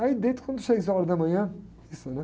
Aí deito, quando seis horas da manhã, missa, né?